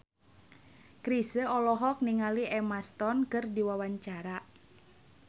Chrisye olohok ningali Emma Stone keur diwawancara